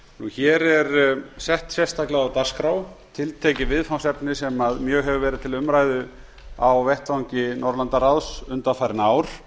hér er sett sérstaklega á dagskrá tiltekið viðfangsefni sem mjög hefur verið til umræðu á vettvangi norðurlandaráðs undanfarin ár